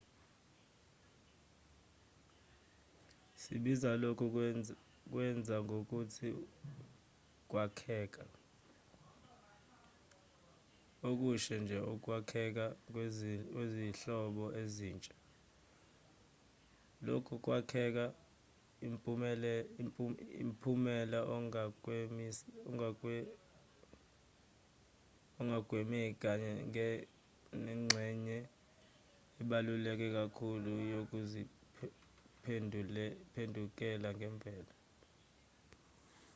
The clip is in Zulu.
sibiza lokhu kwenza ngokuthi ukwakheka okushe nje ukwakhekha kwezinhlobo ezintsha lokhu kwakheka umphumela ongakwemeki kanye nengxenye ebaluleke kakhulu yokuziphendukela kwemvelo